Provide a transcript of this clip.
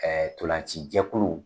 tolacijɛkulu